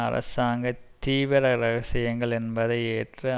அரசாங்க தீவிர இரகசியங்கள் என்பதை ஏற்று